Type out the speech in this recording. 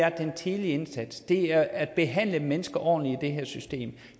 er den tidlige indsats det er at behandle mennesker ordentligt i det her system